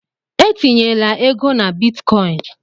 Etinyela ego na Bitcoin!